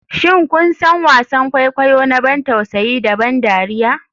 Shin kun san wasan kwaikwayo na ban tausayi da ban dariya?